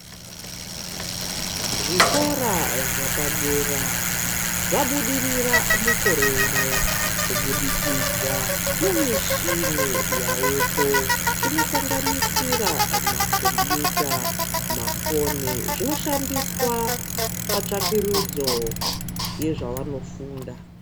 Zvikora zvapadera zvabudirira mukore uno kubudikidza nemishini yaveko inosanganisira makombuta ,mafoni zvinoshandiswa patsvakurudzo yezvanofunda.